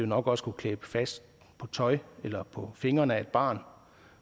nok også kunne klæbe fast på tøj eller på fingrene af et barn